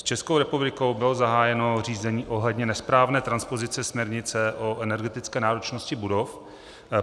S Českou republikou bylo zahájeno řízení ohledně nesprávné transpozice směrnice o energetické náročnosti budov.